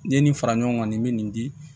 N'i ye nin fara ɲɔgɔn kan nin bɛ nin di